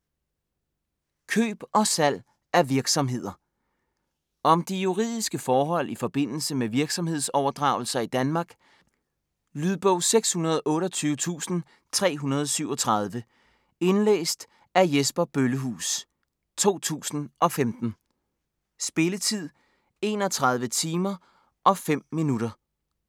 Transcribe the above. Køb og salg af virksomheder Om de juridiske forhold i forbindelse med virksomhedsoverdragelser i Danmark. Lydbog 628337 Indlæst af Jesper Bøllehuus, 2015. Spilletid:31 timer, 05 minutter.